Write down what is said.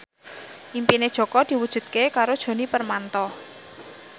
impine Jaka diwujudke karo Djoni Permato